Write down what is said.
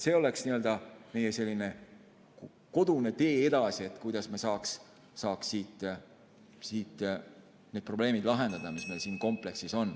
See oleks n‑ö meie selline kodune tee edasi, kuidas me saaks need probleemid lahendada, mis meil siin kompleksis on.